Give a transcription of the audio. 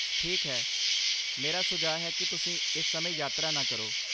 ਠੀਕ ਹੈ। ਮੇਰਾ ਸੁਝਾਅ ਹੈ ਕਿ ਤੁਸੀਂ ਇਸ ਸਮੇਂ ਯਾਤਰਾ ਨਾ ਕਰੋ।